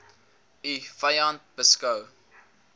u vyand beskou